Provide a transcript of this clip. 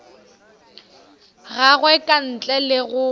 gagwe ka ntle le go